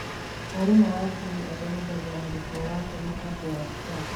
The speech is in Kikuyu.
Mwarimũ wa Juni athomithagia mũrutwo waake mũbango wa Scratch.